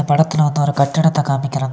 படத்துல வந்து ஒரு கட்டிடத்த காமிக்கிறாங்க.